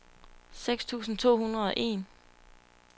seks tusind to hundrede og en